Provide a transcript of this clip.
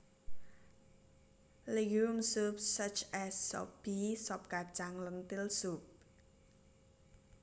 Legume soups such as Sop Pea sop kacang lentil soup